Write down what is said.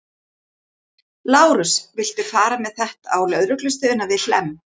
Lárus, viltu fara með þetta á lögreglustöðina við Hlemm?